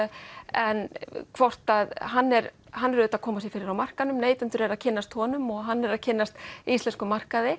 en hann er hann er auðvitað að koma sér fyrir á markaðnum neytendur eru að kynnast honum og hann er að kynnast íslenskum markaði